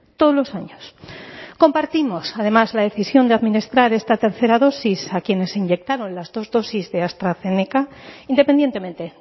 todos los años compartimos además la decisión de administrar esta tercera dosis a quienes se inyectaron las dos dosis de astrazeneca independientemente